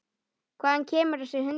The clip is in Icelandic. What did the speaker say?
Hvaðan kemur þessi hundur?